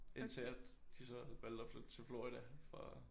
Indtil at de så valgte at flytte til Florida for at